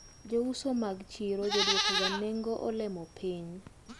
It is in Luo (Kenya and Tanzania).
Jouso mag chiro joduokoga nengo olemo piny.